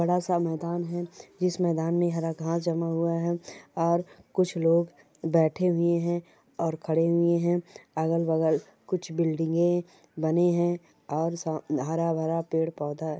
बड़ा सा मैदान है इस मैदान में हरा घांस जमा हुआ है और कुछ लोग बैठे हुए हैं और खड़े हुए हैं अगल बगल कुछ बिल्डिंगे बनी है और सा हरा भरा पेड़ पौधा--